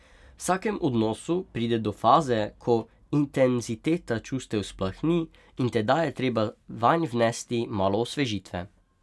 V vsakem odnosu pride do faze, ko intenziteta čustev splahni, in tedaj je treba vanj vnesti malo osvežitve.